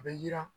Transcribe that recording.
A bɛ yiran